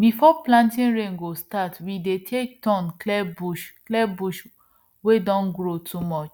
before planting rain go start we dey take turn clear bush clear bush wey don grow too much